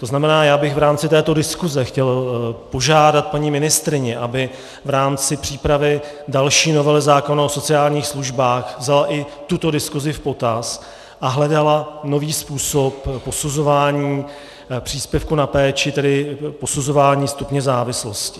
To znamená, že bych v rámci této diskuse chtěl požádat paní ministryni, aby v rámci přípravy další novely zákona o sociálních službách vzala i tuto diskusi v potaz a hledala nový způsob posuzování příspěvku na péči, tedy posuzování stupně závislosti.